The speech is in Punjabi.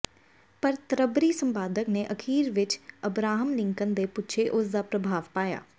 ਪਰ ਤ੍ਰਭਰੀ ਸੰਪਾਦਕ ਨੇ ਅਖੀਰ ਵਿੱਚ ਅਬਰਾਹਮ ਲਿੰਕਨ ਦੇ ਪਿੱਛੇ ਉਸ ਦਾ ਪ੍ਰਭਾਵ ਪਾਇਆ